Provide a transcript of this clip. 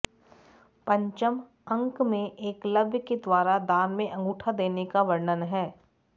पंचम अंक में एकलव्य के द्वारा दान में अंगूठा देने का वर्णन है